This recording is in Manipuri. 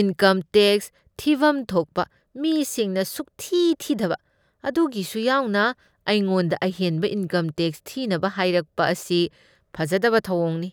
ꯏꯟꯀꯝ ꯇꯦꯛꯁ ꯊꯤꯕꯝ ꯊꯣꯛꯄ ꯃꯤꯁꯤꯡꯅ ꯁꯨꯛꯊꯤ ꯊꯤꯗꯕ ꯑꯗꯨꯒꯤꯁꯨ ꯌꯥꯎꯅ ꯑꯩꯉꯣꯟꯗ ꯑꯍꯦꯟꯕ ꯏꯟꯀꯝ ꯇꯦꯛꯁ ꯊꯤꯅꯕ ꯍꯥꯏꯔꯛꯄ ꯑꯁꯤ ꯐꯖꯗꯕ ꯊꯧꯑꯣꯡꯅꯤ꯫